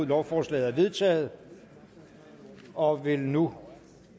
lovforslaget er vedtaget og vil nu